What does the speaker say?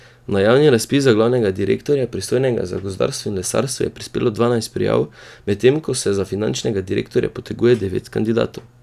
Na javni razpis za glavnega direktorja, pristojnega za gozdarstvo in lesarstvo, je prispelo dvanajst prijav, medtem ko se za finančnega direktorja poteguje devet kandidatov.